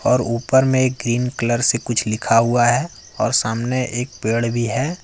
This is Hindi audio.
और ऊपर में क्रीम कलर से कुछ लिखा हुआ है और सामने एक पेड़ भी है।